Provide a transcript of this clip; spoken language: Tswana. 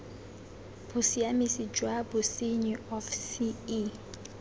bosiamisi jwa bosenyi of ce